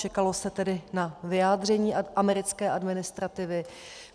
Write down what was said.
Čekalo se tedy na vyjádření americké administrativy.